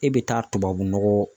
E bɛ taa tubabunɔgɔ